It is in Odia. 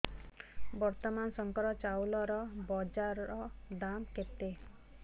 ବର୍ତ୍ତମାନ ଶଙ୍କର ଚାଉଳର ବଜାର ଦାମ୍ କେତେ